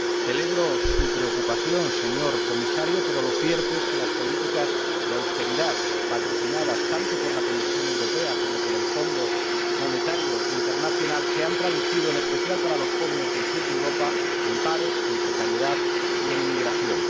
Celebro su preocupación, señor Comisario, pero lo cierto es que las políticas de austeridad, patrocinadas tanto por la Comisión Europea como por el Fondo Monetario Internacional, se han traducido, en especial para los jóvenes del sur de Europa, en paro, en precariedad y en emigración.